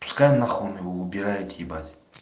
пускай нахуй он его убирает ебать